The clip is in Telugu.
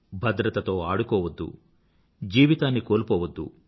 భద్రతతో ఆడుకోవద్దు జీవితాన్ని కోల్పోవద్దు